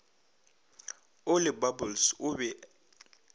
o le bubbles o be